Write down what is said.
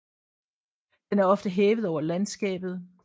Den er ofte hævet over landskabet